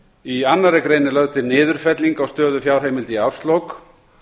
í annarri grein er lögð til niðurfelling á stöðu fjárheimilda í árslok